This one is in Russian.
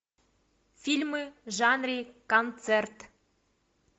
фильмы в жанре концерт